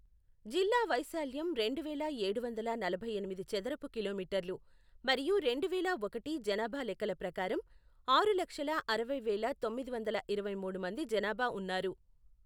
జిల్లా వైశాల్యం రెండువేల ఏడు వందల నలభై ఎనిమిది చదరపు కిలోమీటర్లు మరియు రెండువేల ఒకటి జనాభా లెక్కల ప్రకారం ఆరు లక్షల అరవై వేల తొమ్మిది వందల ఇరవై మూడు మంది జనాభా ఉన్నారు.